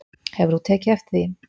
Hefur þú tekið eftir því?